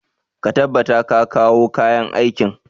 Ka tabbata ka kawo kayan aikin!